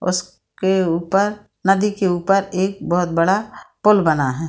उसके ऊपर नदी के ऊपर एक बोहत बड़ा पुल बना है |